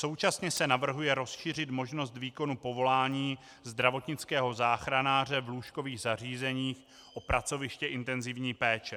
Současně se navrhuje rozšířit možnost výkonu povolání zdravotnického záchranáře v lůžkových zařízeních o pracoviště intenzivní péče.